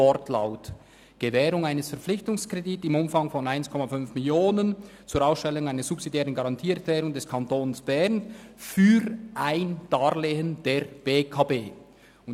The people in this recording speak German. «Gewährung eines Verpflichtungskredits im Umfang von 1,5 Mio. Franken zur Ausstellung einer subsidiären Garantieerklärung des Kantons Bern für ein Darlehen der BEKB.»